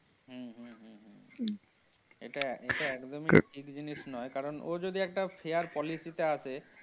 হম হম হম হম এটা একদমই ঠিক জিনিস নয় কারণ ও যদি একটা fair policy তে আসে।